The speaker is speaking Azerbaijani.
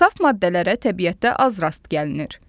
Saf maddələrə təbiətdə az rast gəlinir.